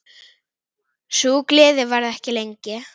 Sú gleði varði ekki lengi.